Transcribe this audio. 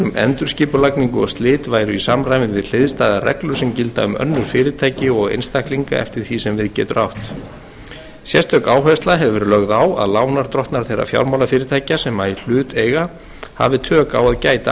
endurskipulagningu og slit væru í samræmi við hliðstæðar reglur sem gilda um önnur fyrirtæki og einstaklinga eftir því sem við getur átt sérstök áhersla hefur verið lögð á að lánardrottnar þeirra fjármálafyrirtækja sem í hlut eiga hafi tök á að gæta